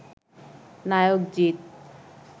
নায়ক জিত